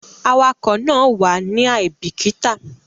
Awakọ̀ náà wàá ní àìbíkítà